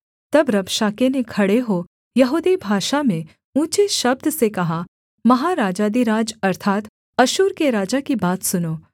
तब रबशाके ने खड़े हो यहूदी भाषा में ऊँचे शब्द से कहा महाराजाधिराज अर्थात् अश्शूर के राजा की बात सुनो